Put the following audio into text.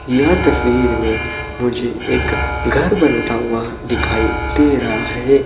यह तस्वीर मे मुझे एक घर बनता हुआ दिखाई दे रहा है।